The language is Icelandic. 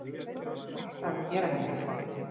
Alltaf að gera henni eitthvað.